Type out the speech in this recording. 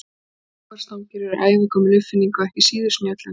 Vogarstangir eru ævagömul uppfinning og ekki síður snjöll en skærin.